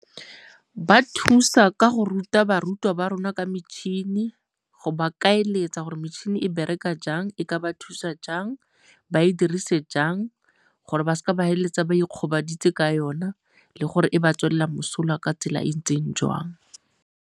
Ba thusa ka go ruta barutwa ba rona ka metšhini, go ba kaeletsa gore metšhini e bereka jang, e ka ba thusa jang ba e dirise jang gore ba seke ba feleletsa ba ikgobaditse ka yona le gore e ba tswela mosola ka tsela e e ntseng jwang.